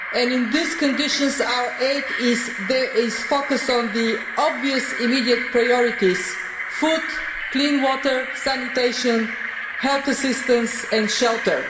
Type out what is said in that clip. In these conditions, our aid is focusing on the obvious immediate priorities food, clean water, sanitation, health assistance and shelter.